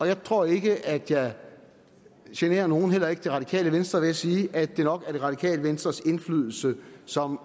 jeg tror ikke at jeg generer nogen heller ikke det radikale venstre ved at sige at det nok er det radikale venstres indflydelse som